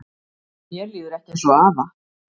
Mér líður ekki eins og afa